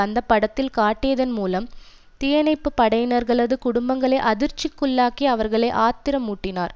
அந்த படத்தில் காட்டியதன் மூலம் தீயணைப்பு படையினர்களது குடும்பங்களை அதிர்ச்சிக்குள்ளாக்கி அவர்களை ஆத்திரமூட்டினார்